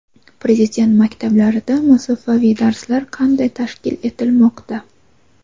Prezident maktablarida masofaviy darslar qanday tashkil etilmoqda?.